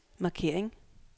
markering